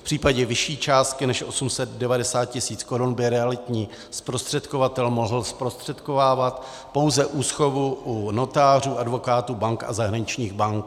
V případě vyšší částky než 890 tisíc korun by realitní zprostředkovatel mohl zprostředkovávat pouze úschovu u notářů, advokátů, bank a zahraničních bank.